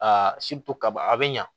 kaba a bɛ ɲa